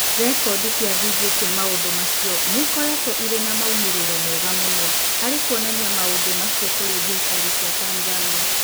Rekondi cia video cia maũndũ macio nĩ ikoretwo irĩ na moimĩrĩro mega mũno harĩ kuonania maũndũ macio kũrĩ thirikari cia Tanzania.